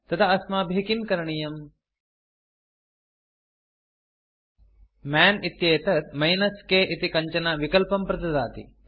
तदा अस्माभिः किं करणीयम् मन् इत्येतत् -k इति कञ्चन विकल्पं प्रददाति